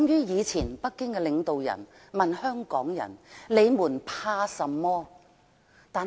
以前北京領導人曾問香港人，"你們怕甚麼？